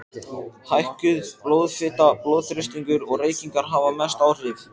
Hækkuð blóðfita, blóðþrýstingur og reykingar hafa mest áhrif.